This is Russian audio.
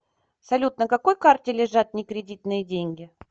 салют на какой карте лежат не кредитные деньги